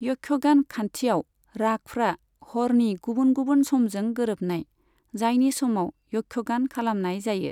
यक्षगान खान्थियाव, रागफ्रा हरनि गुबुन गुबुन समजों गोरोबनाय, जायनि समाव यक्षगान खालामनाय जायो।